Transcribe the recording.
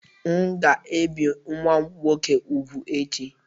M'gēbì nwam nwoke úgwù echi